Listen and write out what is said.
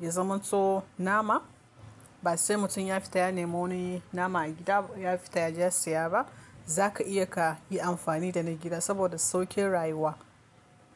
ya zaman to nama. Ba sai mutum ya fita ya nemo wani nama a gida ya fita ya je ya siya ba. Za ka iya ka yi amfani da na gida saboda sauƙin rayuwa.